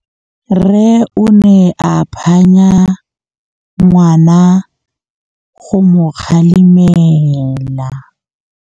Rre o ne a phanya ngwana go mo galemela.